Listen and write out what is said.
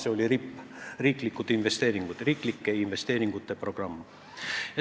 See oli RIP ehk riiklike investeeringute programm.